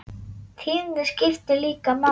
Tíðnin skiptir líka máli.